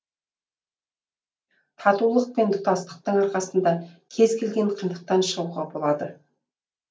татулық пен тұтастықтың арқасында кез келген қиындықтан шығуға болады